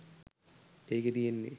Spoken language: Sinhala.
ඒකේ තියෙන්නෙ